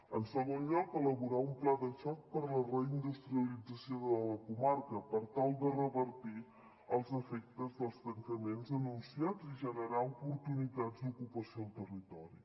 en segon lloc elaborar un pla de xoc per a la reindustrialització de la comarca per tal de revertir els efectes dels tancaments anunciats i generar oportunitats d’ocupació al territori